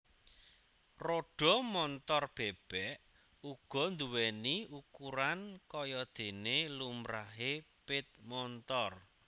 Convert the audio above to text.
Rodha Montor bèbèk uga nduwèni ukuran kayadéné lumrahé pit montor